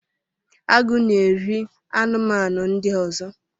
Agụ na-eri anụmanụ ndị ọzọ